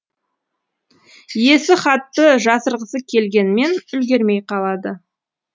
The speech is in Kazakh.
иесі хатты жасырғысы келгенмен үлгермей қалады